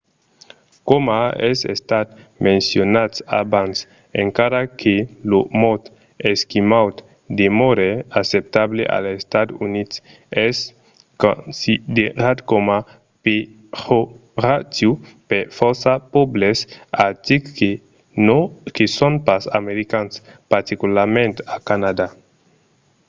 coma es estat mencionat abans encara que lo mot esquimaud demòre acceptable als estats units es considerat coma pejoratiu per fòrça pòbles artics que son pas americans particularament a canadà